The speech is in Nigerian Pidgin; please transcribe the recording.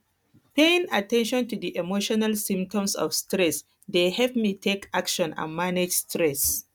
paying at ten tion to di emotional symptoms of stress dey help me take action and manage stress